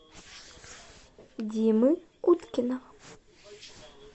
димы уткина